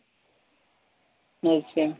ਅੱਛਾ